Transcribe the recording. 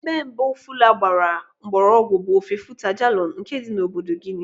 Ebe mbụ asụsụ Fula gbara mgbọrọgwụ bụ ofe Futa Djallon nke dị na obodo Guinea.